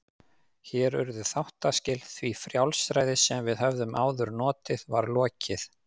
Hér urðu þáttaskil, því frjálsræði sem við höfðum áður notið var lokið.